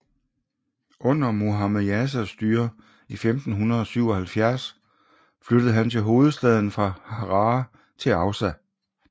Under Muhammed Jasas styre i 1577 flyttede han hovedstaden fra Harar til Aussa